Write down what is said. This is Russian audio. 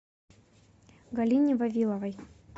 галине вавиловой